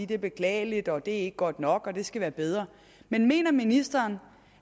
det er beklageligt at det ikke er godt nok og at det skal være bedre men mener ministeren